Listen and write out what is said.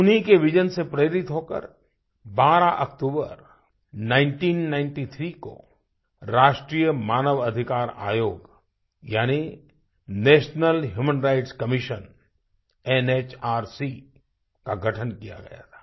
उन्हीं के vision vision से प्रेरित होकर 12 अक्तूबर 1993 को राष्ट्रीय मानव अधिकार आयोग यानी national human rights commission NHRC का गठन किया गया था